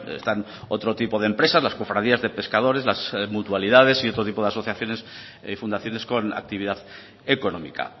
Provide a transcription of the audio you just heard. están otro tipo de empresas las cofradías de pescadores las mutualidades y otro tipo de asociaciones y fundaciones con actividad económica